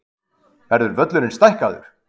Verður völlurinn stækkaður?